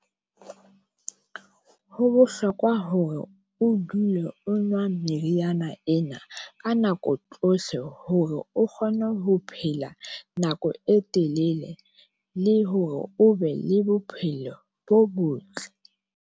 Ho bohlokwa hore o dule o nwa meriana ena ka nako tsohle, hore o kgone ho phela nako e telele, le hore o be le bophelo bo botle.